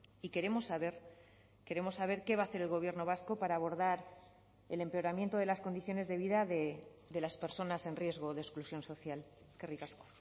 y queremos saber queremos saber qué va a hacer el gobierno vasco para abordar el empeoramiento de las condiciones de vida de las personas en riesgo de exclusión social eskerrik asko